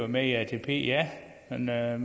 med i atp ja man er